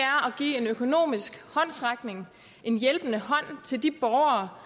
give en økonomisk håndsrækning en hjælpende hånd til de borgere